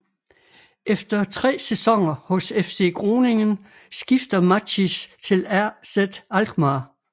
Efter 3 sæsoner hos FC Groningen skifter Matthijs til AZ Alkmaar